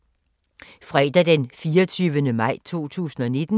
Fredag d. 24. maj 2019